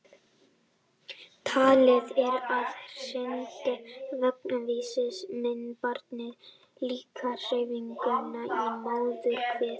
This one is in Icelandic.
Talið er að hrynjandi vögguvísna minni barnið líka á hreyfinguna í móðurkviði.